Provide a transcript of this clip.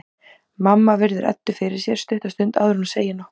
Mamma virðir Eddu fyrir sér stutta stund áður en hún segir nokkuð.